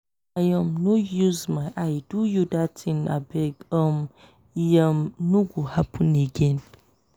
i um no use my eye do you dat tin abeg um e um no go happen again.